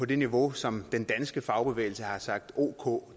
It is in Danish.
det niveau som den danske fagbevægelse har sagt ok